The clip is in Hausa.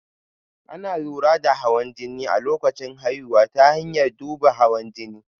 Ana lura da hawan jini a lokacin haihuwa ta hanyar duban hawan jini